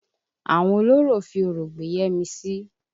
Àwọn olórò fi Orò gbé Yẹ́misì.